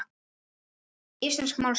Íslensk málstöð